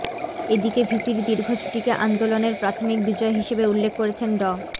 এদিকে ভিসির দীর্ঘ ছুটিকে আন্দোলনের প্রাথমিক বিজয় হিসেবে উল্লেখ করেছেন ড